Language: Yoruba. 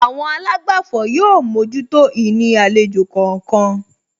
Àwọn àlágbàfọ̀ yóò mójútó ìní àlejò kọ̀ọ̀kan